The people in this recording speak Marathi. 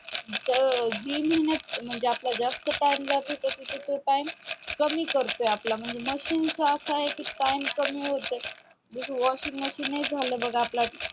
म्हणजे जे ना जिथं आपला जास्त time जात होता तिथं तो time कमी करतोय आपला म्हणजे machine च असं आहे कि time कमी होतोय जस washing machine ने झालं बघ आपला time